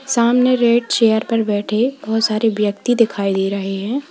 सामने red chair पर बैठे बहुत सारे व्यक्ति दिखाई दे रहे हैं।